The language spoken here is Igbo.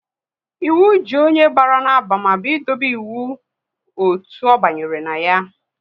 Ịwu ji onye bara n'abamaba ị dobe iwu otu ọ banyere na ya